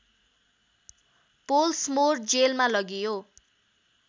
Pollsmoor जेलमा लगियो